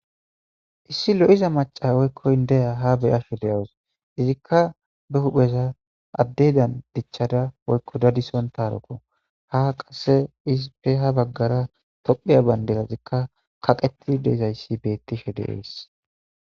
Issi lo'iza maca woykkoyn deya ha bey asho deyawus izikka be hupheza addedan dichchada woykko dadison taropo ha qasse isipeha baggara topheya bayndeza zikka kaqetid deizayssi bettishe deees.